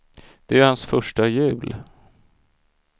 Det är ju hans första jul.